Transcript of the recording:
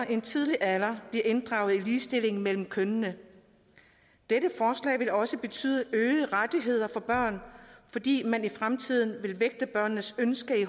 i en tidlig alder bliver inddraget i ligestillingen mellem kønnene dette forslag vil også betyde øgede rettigheder for børn fordi man i fremtiden i vil vægte børnenes ønske i